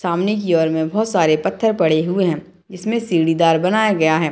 सामने की ओर में बहोत सारे पत्थर पड़े हुए हैं जिसमें सीढ़ीदार बनाया गया है।